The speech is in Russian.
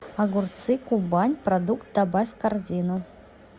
огурцы кубань продукт добавь в корзину